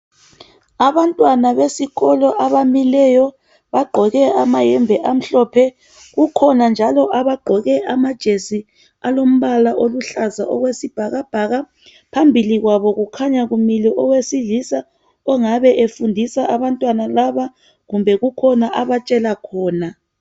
Abantwana besikolo abamileyo bagqoke amayembe amhlophe. Kukhona njalo abagqoke amajesi alombala oluhlaza okwesibhakabhaka. Phambi kwabo kukhanya kume owesilisa ongabe efundisa abantwana laba kumbe kukhona abatshela khona.